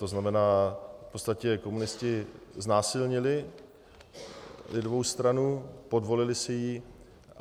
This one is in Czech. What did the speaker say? To znamená, v podstatě komunisté znásilnili lidovou stranu, podvolili si ji.